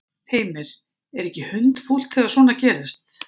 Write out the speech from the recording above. Heimir: Er ekki hundfúlt þegar svona gerist?